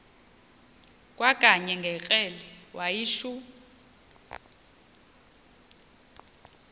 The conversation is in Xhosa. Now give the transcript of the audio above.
kwakanye ngekrele wayishu